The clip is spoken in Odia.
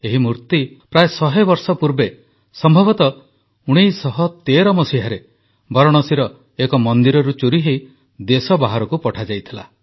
ଏହି ମୂର୍ତ୍ତି ପ୍ରାୟ 100 ବର୍ଷ ପୂର୍ବେ ସମ୍ଭବତଃ 1913 ମସିହାରେ ବାରାଣାସୀର ଏକ ମନ୍ଦିରରୁ ଚୋରିହୋଇ ଦେଶ ବାହାରକୁ ପଠାଯାଇଥିଲା